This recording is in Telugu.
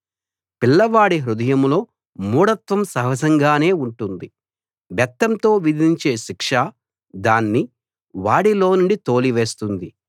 పిల్లవాడి హృదయంలో మూఢత్వం సహజంగానే ఉంటుంది బెత్తంతో విధించే శిక్ష దాన్ని వాడిలోనుండి తోలివేస్తుంది